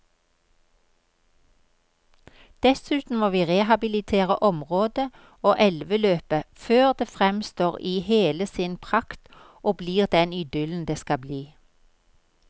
Dessuten må vi rehabilitere området og elveløpet før det fremstår i hele sin prakt og blir den idyllen det skal bli.